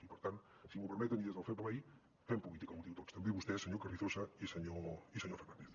i per tant si m’ho permeten i des del fair play fem política útil tots també vostès senyor carrizosa i senyor fernández